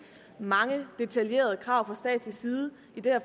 mange detaljerede krav fra statslig side i det her